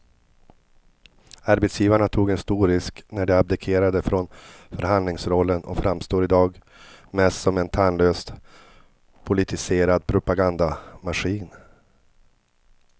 Arbetsgivarna tog en stor risk när de abdikerade från förhandlingsrollen och framstår i dag mest som en tandlös politiserad propagandamaskin.